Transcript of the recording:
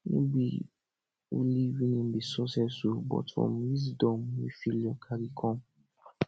no be only winning be success o but from wisdom wey failure cari com